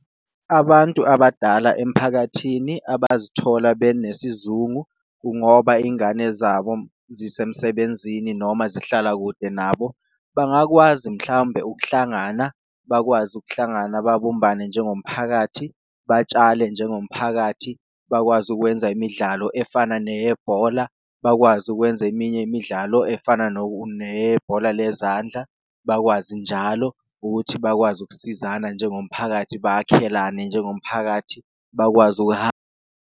Abantu abadala emphakathini abazithola besizungu kungoba ingane zabo zisemsebenzini noma zihlala kude nabo bangakwazi mhlawumbe ukuhlangana, bakwazi ukuhlangana, babumbane njengomphakathi, batshale njengomphakathi. Bakwazi ukwenza imidlalo efana neyebhola, bakwazi ukwenza eminye imidlalo efana neyebhola lezandla, bakwazi njalo ukuthi bakwazi ukusizana njengomphakathi, bakhelane njengomphakathi, bakwazi .